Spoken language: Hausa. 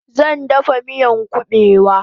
Zan dafa miyan kubewa